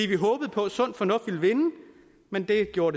vi håbede på at sund fornuft ville vinde men det gjorde